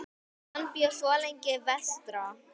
Hann bjó svo lengi vestra.